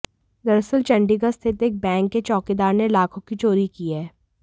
दरअसल चंडीगढ़ स्थित एक बैंक के चौकीदार ने लाखों की चोरी की है